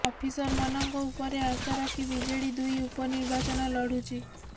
ଅଫିସରମାନଙ୍କ ଉପରେ ଆଶା ରଖି ବିଜେଡି ଦୁଇ ଉପନିର୍ବାଚନ ଲଢ଼ୁଛି